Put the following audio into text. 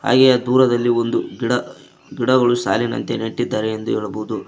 ಹಾಗೆ ದೂರದಲ್ಲಿ ಒಂದು ಗಿಡ ಗಿಡಗಳು ಸಾಲಿನಂತೆ ನೆಟ್ಟಿದ್ದಾರೆ ಎಂದು ಹೇಳಬಹುದು.